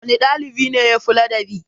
Wanne ɗalibi ne yafi ladabi?